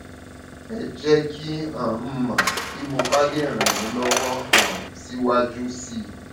ẹ jẹ kí um n mọ bí mo bá lè ràn yín lọwọ um síwájú sí i